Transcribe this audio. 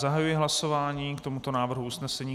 Zahajuji hlasování k tomuto návrhu usnesení.